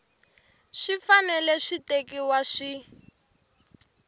swi fanele swi tekiwa swi